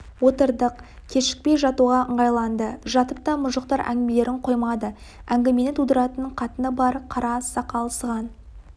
отырдық кешікпей жатуға ыңғайланды жатып та мұжықтар әңгімелерін қоймады әңгімені тудыратын қатыны бар қара сақал сыған